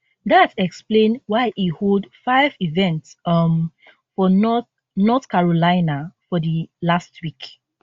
dat explain why e hold five events um for north north carolina for di last week